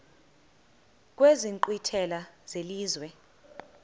kwezi nkqwithela zelizwe